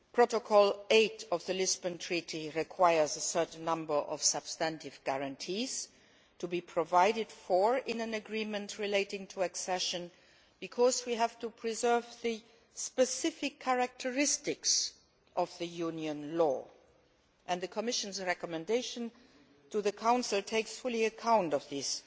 Protocol 8 of the Lisbon Treaty requires a certain number of substantive guarantees to be provided for in an agreement relating to accession because we have to preserve the specific characteristics of Union law and the Commission's recommendation to the Council takes full account of these